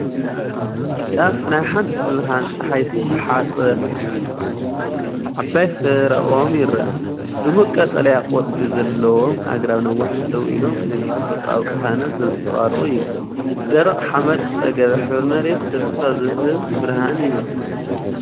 ጫፍ ናይ ሓንቲ ብብርሃን ጸሓይ ዝተሓጽበት ዓባይ ፍረ ኦም ይረአ። ድሙቕ ቀጠልያ ቆጽሊ ዘለዎም ኣግራብ ነዋሕቲ ደው ኢሎም ነቲ ተፈጥሮኣዊ ቅሳነት ዘንጸባርቑ እዮም። ብደረቕ ሓመድ ዝተጸገበ ሕብሪ መሬት፡ ተስፋ ዝህብ ብርሃን ይመስል።